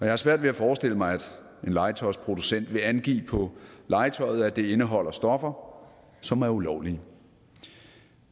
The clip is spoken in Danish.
har svært ved at forestille mig at en legetøjsproducent vil angive på legetøjet at det indeholder stoffer som er ulovlige